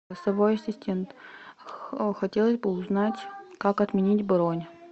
голосовой ассистент хотелось бы узнать как отменить бронь